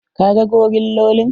Ka ga gorillolin?